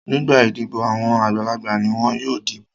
Nígbà idibo àwọn àgbàlagbà ni wọn yóò dìbò.